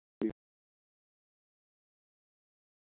Lillý Valgerður Pétursdóttir: Skapaðist hætta?